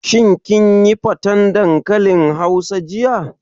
Shin kin yi faten dankalin hausa jiya?